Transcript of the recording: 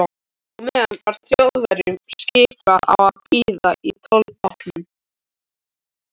Á meðan var Þjóðverjunum skipað að bíða í tollbátnum.